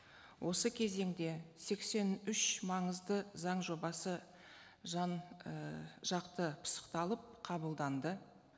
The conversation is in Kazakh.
осы кезеңде сексен үш маңызды заң жобасы жан ы жақты пысықталып қабылданды